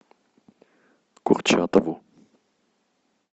курчатову